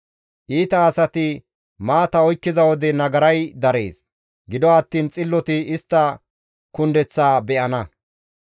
Iita asati maata oykkiza wode nagaray darees; gido attiin xilloti istta kundeththaa be7ana.